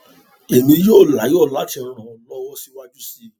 èmi yóò láyọ láti ràn ọ lọwọ síwájú sí i